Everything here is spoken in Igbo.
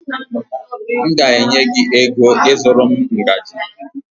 M ga-enye gị ego ịzụrụ m ngaji